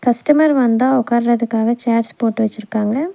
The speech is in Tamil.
கஸ்டமர் வந்தா உக்காறதுகாக சேர்ஸ் போட்டு வச்சுருக்காங்க.